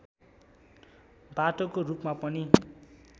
बाटोको रूपमा पनि